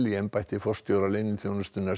í embætti forstjóra leyniþjónustunnar